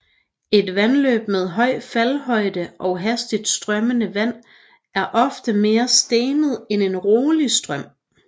Et vandløb med høj faldhøjde og hastigt strømmende vand er ofte mere stenet end en rolig strøm